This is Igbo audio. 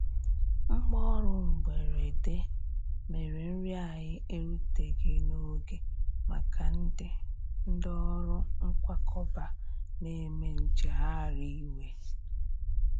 Mgbaọrụ mgberede mere nri anyi eruteghi n'oge maka ndi ndi ọrụ nkwakọba n'eme njeghari iwe.